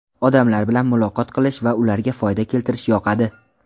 Odamlar bilan muloqot qilish va ularga foyda keltirish yoqadi.